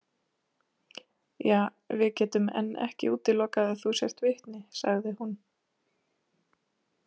Ja, við getum enn ekki útilokað að þú sért vitni, sagði hún.